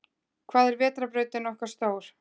Hvað er vetrarbrautin okkar stór?